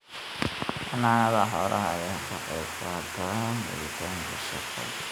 Xanaanada xoolaha ayaa ka qayb qaadata helitaanka shaqo.